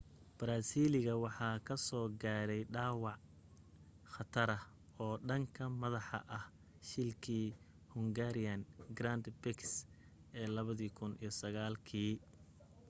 baraasiiliga waxa kasoo gaaray dhaawac khatara oo dhanka madaxa ah shilkii hungarian grand prix ee 2009 kii